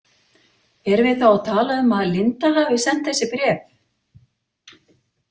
Erum við þá að tala um að Linda hafi sent þessi bréf?